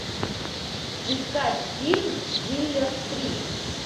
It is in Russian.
искать фильм дилер три